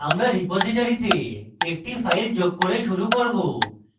আমরা রিপোজিটরীতে একটি file যোগ করে শুরু করব